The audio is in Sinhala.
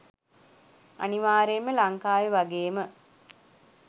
අනිවාර්යයෙන් ම ලංකාවේ වගේ ම